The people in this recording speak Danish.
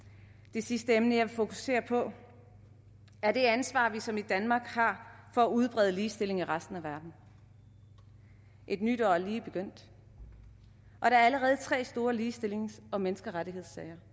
det sidste emne jeg vil fokusere på er det ansvar som vi i danmark har for at udbrede ligestilling i resten af verden et nyt år er lige begyndt og der er allerede tre store ligestillings og menneskerettighedssager